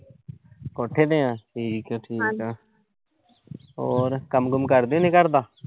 ਕੋਠੇ ਤੇ ਆ ਠੀਕ ਆ-ਠੀਕ ਆ ਹੋਰ ਕੰਮ-ਕੁੰਮ ਕਰਦੇ ਨੇਂ ਘਰ ਦਾ।